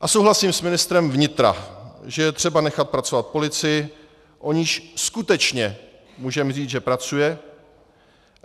A souhlasím s ministrem vnitra, že je třeba nechat pracovat policii, o níž skutečně můžeme říct, že pracuje.